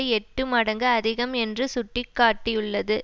எட்டு மடங்கு அதிகம் என்று சுட்டி காட்டியுள்ளது